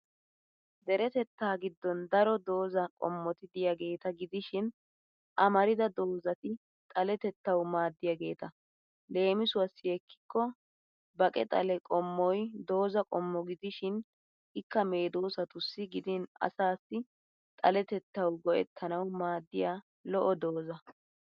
Deretettaa giddon daro doozza qommoti diyageeta gidishin amarida doozzati xaletettawu maaddiyaageeta. Leemisuwassi ekkikko baqe xale qommoy doozza qommo gidishin ikka medoosatussi gidin asaassi xalettettawu goe'ttanawu maaddiya lo'o doozza.